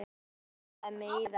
Einhvern veginn rámaði mig í það